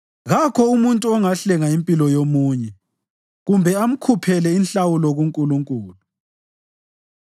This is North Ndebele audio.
Kakho umuntu ongahlenga impilo yomunye kumbe amkhuphele inhlawulo kuNkulunkulu,